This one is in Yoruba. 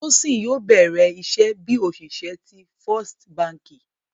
Tosin yóò bẹ̀rẹ̀ iṣẹ̀ bí oṣìṣẹ̀ tí First Bánkì.